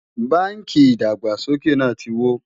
bánkì ìdàgbàsókè nà tí wò